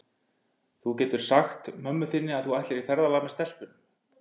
Þú getur sagt mömmu þinni að þú ætlir í ferðalag með stelpunum.